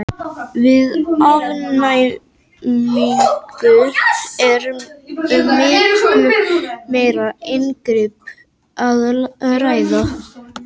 Við afnæmingu er um miklu meira inngrip að ræða.